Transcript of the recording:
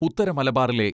ഉത്തരമലബാറിലെ